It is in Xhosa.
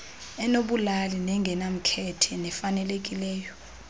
enobulali nengenamkhethe nefanelekileyo